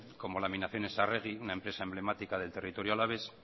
como laminaciones arregui una empresa emblemática del territorio alavés